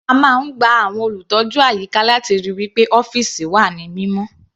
A máa ń gba àwọn olùtọ́jú àyíká láti ríi wí pé ọ́fìsì wà ní mímọ́.